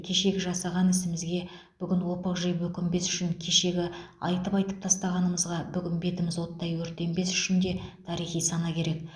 кешегі жасаған ісімізге бүгін опық жеп өкінбес үшін кешегі айтып айтып тастағанымызға бүгін бетіміз оттай өртенбес үшін де тарихи сана керек